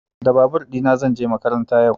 Da babur ɗina zan je makaranta yau.